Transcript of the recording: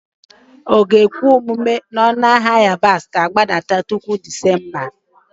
Ọ ga-ekwe omume na ọnụ ahịa yabasị ga-agbada tupu Disemba?